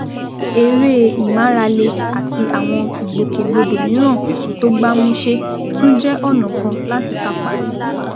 Eré ìmárale àti àwọn ìgbòkègbodò mìíràn tó gbámúṣé tún jẹ́ ọ̀nà kan láti kápá ìfúnpá